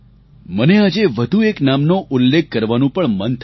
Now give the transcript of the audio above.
મને આજે વધુ એક નામનો ઉલ્લેખ કરવાનું પણ મન થાય છે